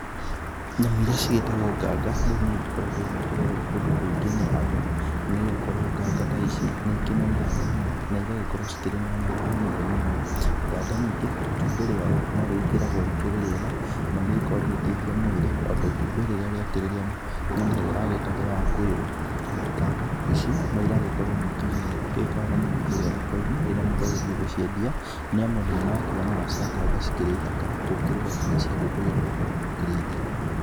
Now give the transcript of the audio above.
Nyamũ iria cigĩtagwo nganga rĩu nĩigĩkoretwo igĩkĩrerwo kũndũ kũingĩ nĩ andũ, nĩ gũkorwo nganga ta ici nĩ ikĩnenehaga mũno, na igagĩkorwo cikĩrĩ na nyama nyingĩ mũno. Nganga ningĩ, itumbĩ rĩayo no rĩgĩkĩragwo rĩkĩrĩ rĩega, na ni rĩgĩkoragwo rĩgĩteithia mwĩrĩ o ta itumbĩ rĩrĩa rĩakĩrĩ rĩa nyoni ĩrĩa yagĩtagwo ya kwĩrũ. Nganga ici no ĩragĩkorwo ningĩ ĩgĩka wega mũno kũrĩa thoko-inĩ, rĩrĩa mũndũ agĩthiĩ gũciendia, nĩ amu andũ nĩ marakiuga nyama cia nganga ĩkĩrĩ thaka, gũkĩrũga nginya cia ngũkũ iria tũgĩkoragwo tũgĩkĩrĩithia.